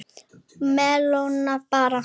Melónur bara!